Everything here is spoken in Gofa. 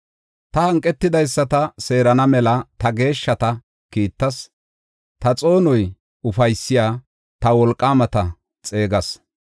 Taani hanqetidaysata seerana mela ta geeshshata kiittas; ta xoonoy ufaysiya ta wolqaamata xeegas.